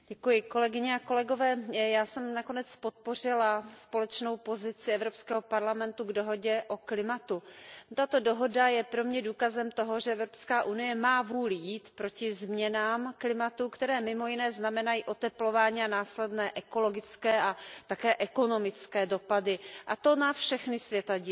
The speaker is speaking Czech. Paní předsedající, já jsem nakonec podpořila společný postoj Evropského parlamentu k dohodě o klimatu. Tato dohoda je pro mne důkazem toho, že Evropská unie má vůli jít proti změnám klimatu, které mimo jiné znamenají oteplování a následné ekologické a také ekonomické dopady, a to na všechny světadíly.